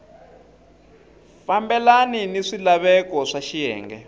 fambelani ni swilaveko swa xiyenge